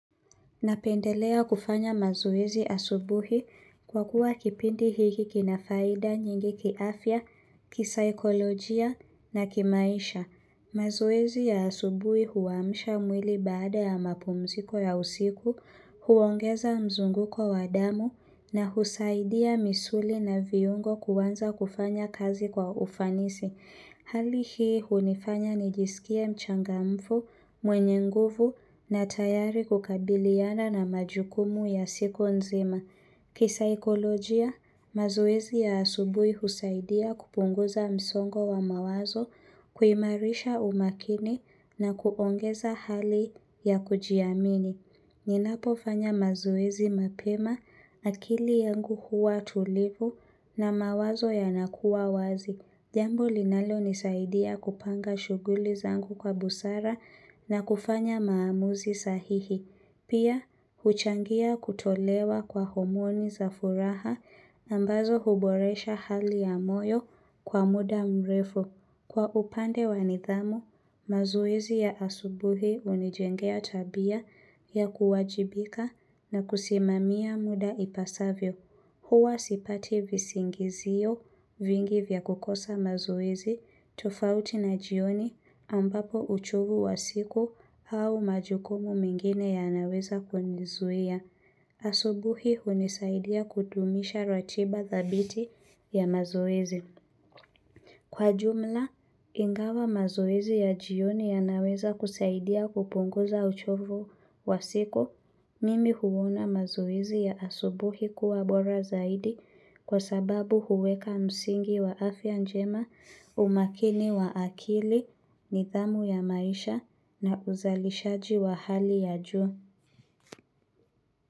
Napendelea kufanya mazoezi asubuhi kwa kuwa kipindi hiki kinafaida nyingi kiafya, kisaikolojia na kimaisha. Mazoezi ya asubuhi huaamsha mwili baada ya mapumziko ya usiku, huongeza mzunguko wa damu na husaidia misuli na viungo kuanza kufanya kazi kwa ufanisi. Hali hii hunifanya nijisikie mchangamfu, mwenye nguvu na tayari kukabiliana na majukumu ya siku nzima. Kisaikolojia, mazoezi ya asubuhi husaidia kupunguza msongo wa mawazo, kuimarisha umakini na kuongeza hali ya kujiamini. Ninapo fanya mazoezi mapema akili yangu huwa tulivu na mawazo yanakuwa wazi. Jambo linalonisaidia kupanga shughuli zangu kwa busara na kufanya maamuzi sahihi. Pia, huchangia kutolewa kwa homoni za furaha ambazo huboresha hali ya moyo kwa muda mrefu. Kwa upande wa nidhamu, mazoezi ya asubuhi hunijengea tabia ya kuwajibika na kusimamia muda ipasavyo. Huwa sipati visingizio vingi vya kukosa mazoezi tofauti na jioni ambapo uchovu wa siku au majukumu mengine yanaweza kunizuia. Asubuhi hunisaidia kudumisha ratiba dhabiti ya mazoezi. Kwa jumla, ingawa mazoezi ya jioni yanaweza kusaidia kupunguza uchovo wa siku, mimi huona mazoezi ya asubuhi kuwa bora zaidi kwa sababu huweka msingi wa afya njema umakini wa akili nidhamu ya maisha na uzalishaji wa hali ya juu.